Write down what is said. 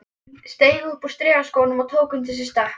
Steig upp úr strigaskónum og tók undir sig stökk.